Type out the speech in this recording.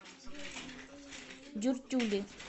дюртюли